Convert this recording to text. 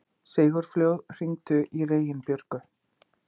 Sigurfljóð, hringdu í Reginbjörgu.